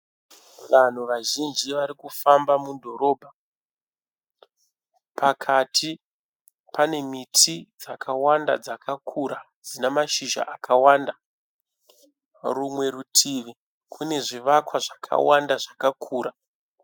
Vanhu vazhinji vari kufamba mudhorobha. Pakati pane miti dzakawanda dzakakura dzina mashizha akawanda. Rumwe rutivi kune zvivakwa zvakawanda zvakakura.